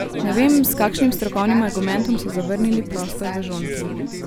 Ne vem, s kakšnim strokovnim argumentom so zavrnili prostor v Žonti.